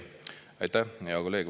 Aitäh, hea kolleeg!